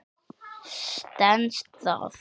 Stenst það?